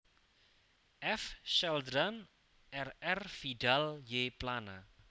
F Celdran R R Vidal y Plana